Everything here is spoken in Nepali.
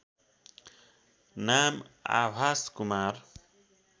नाम आभास कुमार